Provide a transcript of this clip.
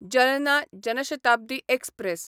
Jalna Jan Shatabdi express